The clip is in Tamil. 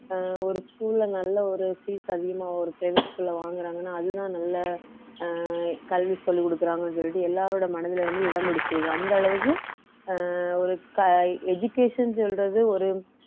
அஹ் ஒரு school ல நல்ல ஒரு fees அதிகமா ஒரு private school ல வாங்குறாங்கன்னா அதுதான் நல்ல அஹ் கல்வி சொல்லிக் கொடுக்குறாங்கன்னு சொல்லிட்டு எல்லாரோட மனதிலே வந்து இடம் பிடிச்சிருக்கு அந்த அளவுக்கு அஹ் ஒரு க~ education சொல்றது ஒரு